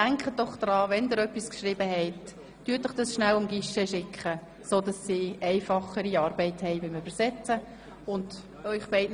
Denken Sie also daran, Ihre Texte ans Guichet zu schicken, sodass die Arbeit der Dolmetscherinnen erleichtert wird.